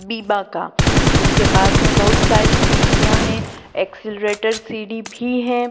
बीबा का उसके पास में बहुत सारी सीढ़ियां हैं एक्सेलरेटर सीढ़ी भी है।